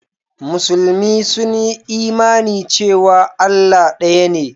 Musulmi sun yi imani cewa Allah ɗaya ne.